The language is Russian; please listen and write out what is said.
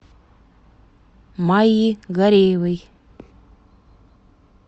майи гареевой